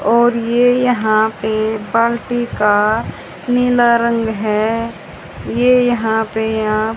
और ये यहां पे बाल्टी का नीला रंग है ये यहां पे आप --